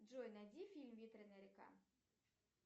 джой найди фильм ветреная река